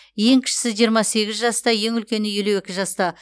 ең кішісі жиырма сегіз жаста ең үлкені елу екі жаста